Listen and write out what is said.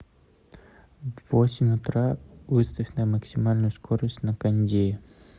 в восемь утра выставь на максимальную скорость на кондее